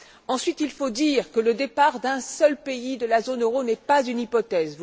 Ensuite, il faut dire que le départ d'un seul pays de la zone euro n'est pas une hypothèse.